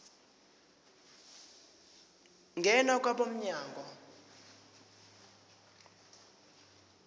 ngena kwabo mnyango